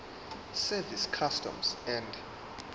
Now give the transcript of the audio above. service customs and